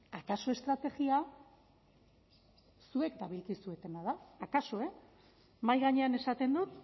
akaso estrategia zuek dabilkuzena da akaso e mahai gainean esaten dut